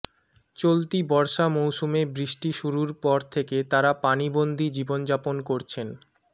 চলতি বর্ষা মৌসুমে বৃষ্টি শুরুর পর থেকে তারা পানিবন্দি জীবনযাপন করছেন